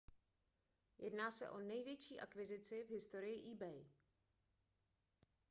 jedná se o největší akvizici v historii ebay